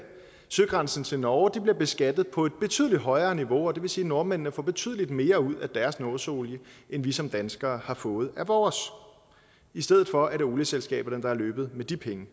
søgrænsen til norge bliver beskattet på et betydelig højere niveau og det vil sige at nordmændene får betydelig mere ud af deres nordsøolie end vi som danskere får har fået ud af vores i stedet for er det olieselskaberne der er løbet af med de penge